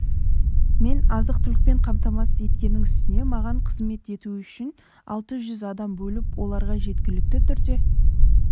мені азық-түлікпен қамтамасыз еткеннің үстіне маған қызмет ету үшін алты жүз адам бөліп оларға жеткілікті түрде